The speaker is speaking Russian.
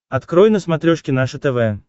открой на смотрешке наше тв